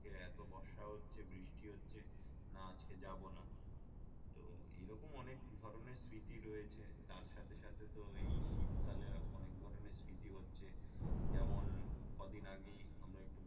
এত বর্ষা হচ্ছে বৃষ্টি হচ্ছে না আজকে যাবো না তো এই রকম অনেক ধরণের স্মৃতি রয়েছে তার সাথে সাথে তো এই শীত কালে অনেক ধরণের স্মৃতি হচ্ছে যেমন কদিন আগেই আমরা একটু